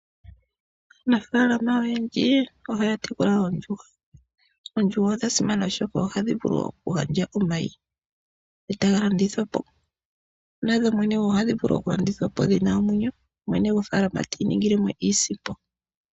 Aanafalama oyendji ohaya tekula oondjuhwa. Oondjuhwa odha simana oshoka ohadhi vulu okugandja omayi, e taga landithwapo. Nadho dhene ohadhi vulu okulandithwapo dhina omwenyo, mwene gwofaalama ti imonene mo iisimpo.